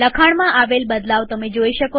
લખાણમાં આવેલ બદલાવ જુઓ